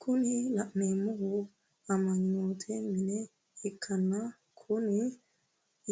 kuni la'neemohu amma'note mine ikkanna kuni